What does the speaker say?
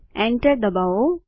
enter ડબાઓ